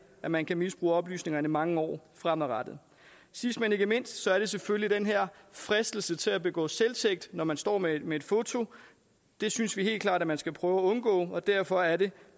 at man kan misbruge oplysningerne mange år fremover sidst men ikke mindst er der selvfølgelig den her fristelse til at begå selvtægt når man står med med et foto det synes vi helt klart man skal prøve at undgå og derfor er det